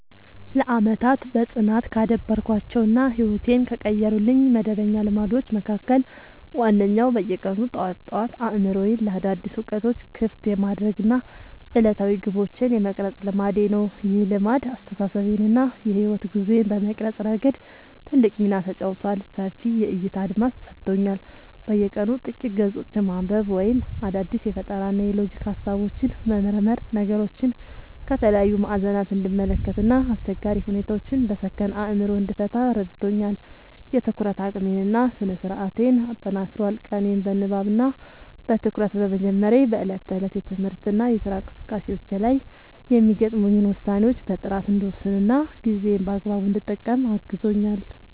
ለዓመታት በጽናት ካዳበርኳቸው እና ሕይወቴን ከቀየሩልኝ መደበኛ ልማዶች መካከል ዋነኛው በየቀኑ ጠዋት ጠዋት አእምሮዬን ለአዳዲስ እውቀቶች ክፍት የማድረግ እና ዕለታዊ ግቦቼን የመቅረጽ ልማዴ ነው። ይህ ልማድ አስተሳሰቤን እና የሕይወት ጉዞዬን በመቅረጽ ረገድ ትልቅ ሚና ተጫውቷል፦ ሰፊ የዕይታ አድማስ ሰጥቶኛል፦ በየቀኑ ጥቂት ገጾችን ማንበብ ወይም አዳዲስ የፈጠራና የሎጂክ ሃሳቦችን መመርመር ነገሮችን ከተለያዩ ማዕዘናት እንድመለከት እና አስቸጋሪ ሁኔታዎችን በሰከነ አእምሮ እንድፈታ ረድቶኛል። የትኩረት አቅሜን እና ስነ-ስርዓቴን አጠናክሯል፦ ቀኔን በንባብ እና በትኩረት በመጀመሬ በዕለት ተዕለት የትምህርትና የሥራ እንቅስቃሴዎቼ ላይ የሚገጥሙኝን ውሳኔዎች በጥራት እንድወስንና ጊዜዬን በአግባቡ እንድጠቀም አግዞኛል።